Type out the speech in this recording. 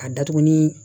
A datugu ni